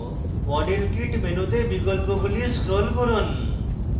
model kit মেনুতে বিকল্পগুলি scroll করুন